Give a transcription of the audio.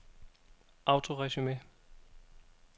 autoresume